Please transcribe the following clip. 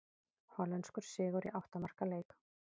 Hollenskur sigur í átta marka leik